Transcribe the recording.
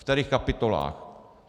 Ve kterých kapitolách.